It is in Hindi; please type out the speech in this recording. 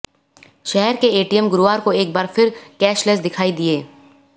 शहर के एटीएम गुरुवार को एक बार फिर कैशलेस दिखाई दिए